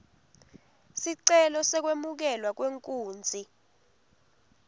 sicelo sekwemukelwa kwenkunzi